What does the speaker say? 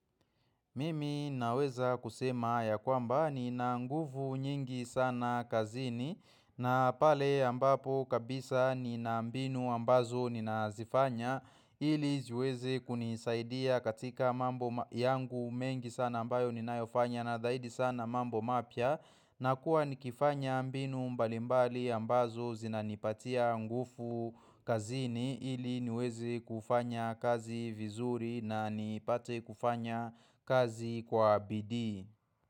Mimi naweza kusema ya kwamba nina nguvu nyingi sana kazini na pale ambapo kabisa nina mbinu ambazo ninazifanya ili ziweze kunisaidia katika mambo yangu mengi sana ambayo ninayofanya na zaidi sana mambo mapya na kuwa nikifanya mbinu mbalimbali ambazo zinanipatia nguvu kazini ili niweze kufanya kazi vizuri na nipate kufanya kazi kwa bidii.